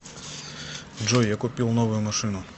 джой я купил новую машину